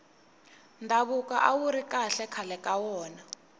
ndhavuko awuri kahle khale ka wona